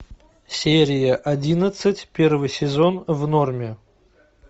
серия одиннадцать первый сезон в норме